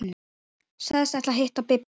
Sagðist ætla að hitta Bibba.